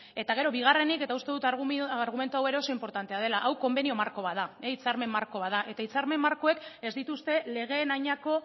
eta gero bigarrenik eta uste dut argumentua hau ere inportantea dela hau konbenio marko bat da hitzarmen marko bat da eta hitzarmen markoek ez dituzte legeen adinako